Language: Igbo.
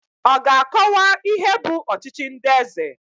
Ọ ga-akọwa ihe bụ ọchịchị ndị eze?